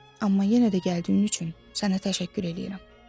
Amma yenə də gəldiyin üçün sənə təşəkkür edirəm.